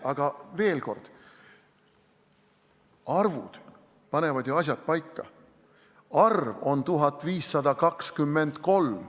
Aga veel kord: arvud panevad asjad paika ja see arv on 1523.